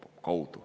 Aeg!